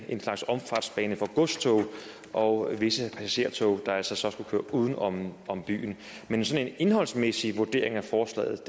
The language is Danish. en slags omfartsbane for godstog og visse passagertog der altså så skulle køre uden om om byen men en sådan indholdsmæssig vurdering af forslaget